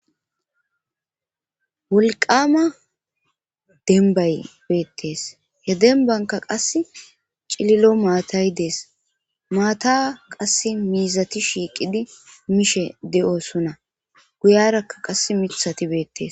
Wolqama denbay beettees he denbanka qass cililo maatay dees maata qass miizati shiiqidi mishe de7oosuna guyarakka qass mithati beettes